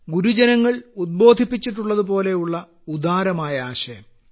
ഗുരുജനങ്ങൾ ഉദ്ബോധിപ്പിച്ചിട്ടുള്ളതുപോലുള്ള ഉദാരമായ ആശയം